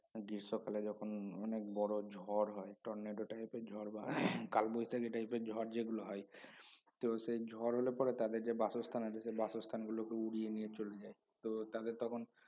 সকালে যখন অনেক বড় ঝড় হয় tornado type এর ঝড় বা কালবৈশাখি type এর ঝড় যেগুলো হয় তো সেই ঝড় হলে পরে তাদের যে বাসস্থান আছে সে বাসস্থানগুলোকে উড়িয়ে নিয়ে চলে যায় তো তাদের তখন